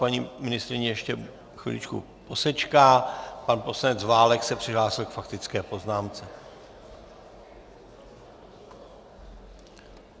Paní ministryně ještě chviličku posečká, pan poslanec Válek se přihlásil k faktické poznámce.